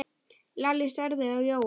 Lalli starði á Jóa.